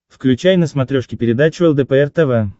включай на смотрешке передачу лдпр тв